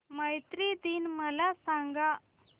मैत्री दिन मला सांगा